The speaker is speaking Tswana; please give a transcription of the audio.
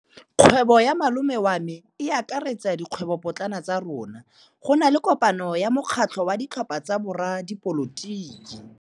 Kgwêbô ya malome wa me e akaretsa dikgwêbôpotlana tsa rona. Go na le kopanô ya mokgatlhô wa ditlhopha tsa boradipolotiki.